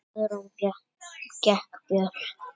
Guðrún gekk burt.